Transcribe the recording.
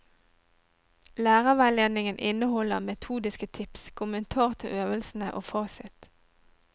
Lærerveiledningen inneholder metodiske tips, kommentar til øvelsene og fasit.